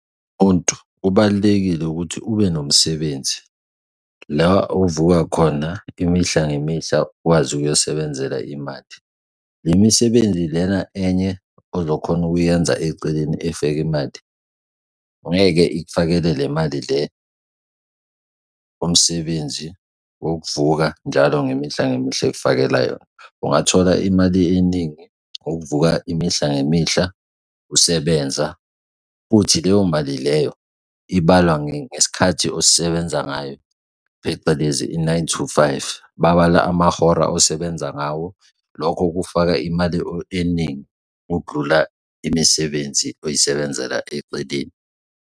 Umuntu kubalulekile ukuthi ube nomsebenzi, la ovuka khona imihla ngemihla, ukwazi ukuyosebenzela imali. Le misebenzi lena enye ozokhona ukuyenza eceleni efake imali ngeke ikufakele le mali le omsebenzi wokuvuka njalo ngemihla ngemihla ekufakela yona. Ungathola imali eningi ngokuvuka imihla ngemihla usebenza futhi leyo mali leyo ibalwa ngesikhathi osisebenza ngayo, phecelezi i-nine to five, babala amahora osebenza ngawo. Lokho kufaka imali eningi ukudlula imisebenzi oyisebenzela eceleni.